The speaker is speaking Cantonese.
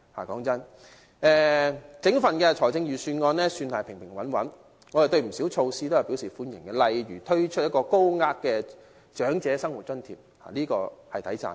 老實說，整份預算案算是平平穩穩，我們對不少措施都表示歡迎，例如推出一項高額的長者生活津貼，這點是值得稱讚的。